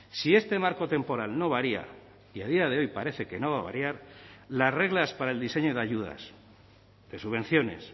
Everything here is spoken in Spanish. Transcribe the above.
si este marco temporal no varía y a día de hoy parece que no va a variar las reglas para el diseño de ayudas de subvenciones